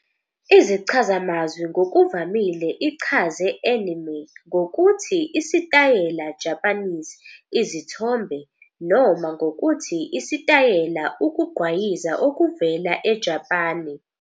izichazamazwi ngokuvamile ichaze "anime" ngokuthi "isitayela Japanese izithombe" noma ngokuthi "isitayela ukugqwayiza okuvela eJapane ".